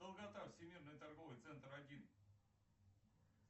долгота всемирный торговый центр один